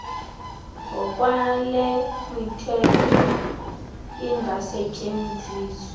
ngokwale mithetho lingasetyenziswa